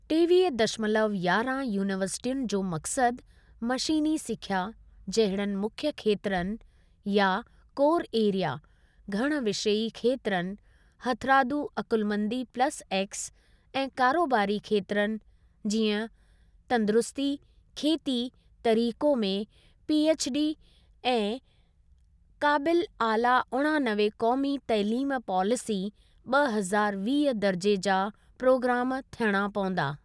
टेवीह दशमलव यांरहां यूनीवर्सिटियुनि जो मक़सद मशीनी सिखिया जहिड़नि मुख्य खेत्रनि या कोर एरिया, घण विषयी खेत्रनि 'हथरादू अकुलमंदी प्लस एक्स' ऐं कारोबारी खेत्रनि (जीअं तंदुरुस्ती, खेती, तरीको) में पीएछ्डी ऐं काबिल आला उणानवे क़ौमी तइलीम पॉलिसी ॿ हज़ारु वीह दर्जे जा प्रोग्राम थियणा पवंदा।